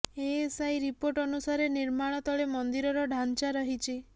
ASI report ଅନୁସାରେ ନିର୍ମାଳ ତଳେ ମନ୍ଦିରର ଢାଞ୍ଚା ରହିଛି